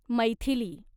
Maithili